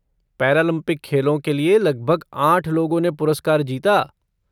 Paralympic खेलों के लिए लगभग आठ लोगों ने पुरस्कार जीता।